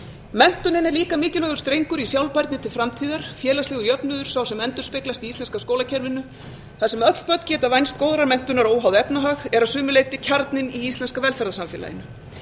menntunin er líka mikilvægur strengur í sjálfbærni til framtíðar félagslegur jöfnuður sá sem endurspeglast í íslenska skólakerfinu þar sem öll börn geta vænst góðrar menntunar óháð efnahag eru að sumu leyti kjarninn í íslenska velferðarsamfélaginu